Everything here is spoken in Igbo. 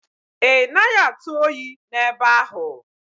Ị naghị atụ oyi n'ebe ahụ?